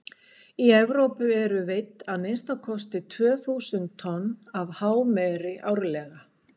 í evrópu eru veidd að minnsta kosti tvö þúsund tonn af hámeri árlega